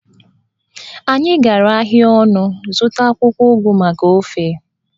Anyị gara ahịa ọnụ zụta akwụkwọ ugu maka ofe